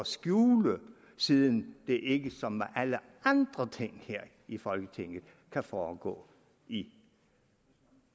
skjule siden det ikke ligesom alle andre ting her i folketinget kan foregå i